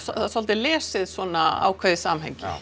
svolítið lesið svona ákveðið samhengi